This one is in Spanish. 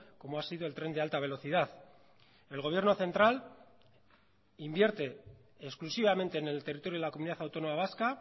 como ha sido el tren de alta velocidad el gobierno central invierte exclusivamente en el territorio de la comunidad autónoma vasca